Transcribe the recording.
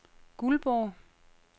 Guldborg